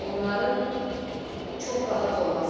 Onların çox rahat olması.